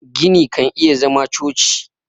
gini kan iya zama choci